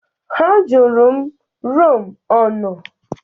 Ha jụrụ m rum ọ nọ.